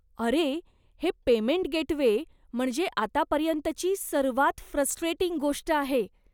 अरे, हे payment gateway म्हणजे आतापर्यंतची सर्वात फ्रस्ट्रेटिंग गोष्ट आहे.